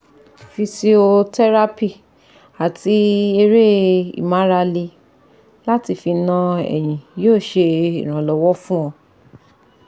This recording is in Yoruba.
Physiotherapy ati ere imarale lati fi na eyin yoo se iranlowo fun o